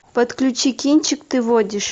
подключи кинчик ты водишь